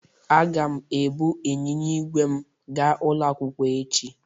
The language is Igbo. Aga m ebu ịnyịnya igwe m ga ulo akwukwo echi.